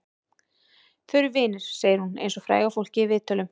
Þau eru vinir, segir hún eins og fræga fólkið í viðtölum.